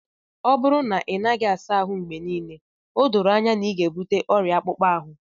ọ bụrụ na ị naghị asa ahụ mgbe niile, o doro anya na ị ga-ebute ọrịa akpụkpọ ahụ